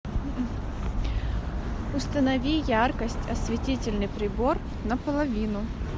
установи яркость осветительный прибор на половину